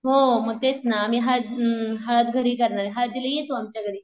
हो मग तेच ना आम्ही हळद अम्म हळद घरी करणारे. हळदीला ये तू आमच्या घरी.